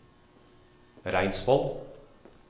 Reinsvoll